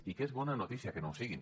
i que és bona notícia que no ho siguin